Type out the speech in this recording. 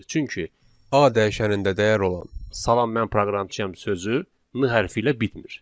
Çünki A dəyişənində dəyər olan salam mən proqramçıyam sözü N hərfi ilə bitmir.